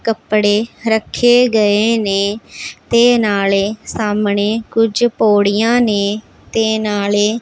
ਕੱਪੜੇ ਰੱਖੇ ਗਏ ਨੇ ਤੇ ਨਾਲੇ ਸਾਹਮਣੇ ਕੁਝ ਪੌੜੀਆਂ ਨੇ ਤੇ ਨਾਲੇ--